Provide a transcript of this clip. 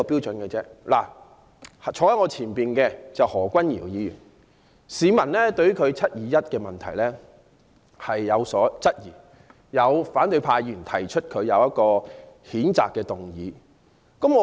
例如，坐在我前方的何君堯議員，被市民質疑他在"七二一"事件中的角色，於是有反對派議員對他提出譴責議案。